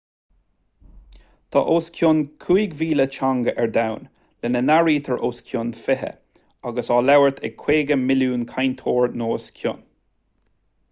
tá os cionn 5,000 teanga ar domhan lena n-áirítear os cionn fiche atá á labhairt ag 50 milliún cainteoir nó os a chionn